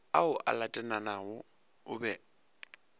ao a latelanago o be